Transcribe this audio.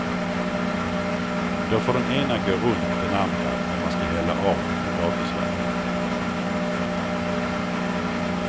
Då får den ena gå runt den andra när man ska hälla av potatisvattnet.